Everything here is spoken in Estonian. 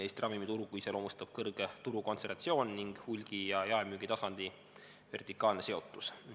Eesti ravimiturgu iseloomustab kõrge turukontsentratsioon ning hulgi- ja jaemüügitasandi vertikaalne seotus.